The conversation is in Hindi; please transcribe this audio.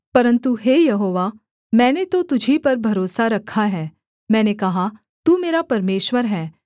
परन्तु हे यहोवा मैंने तो तुझी पर भरोसा रखा है मैंने कहा तू मेरा परमेश्वर है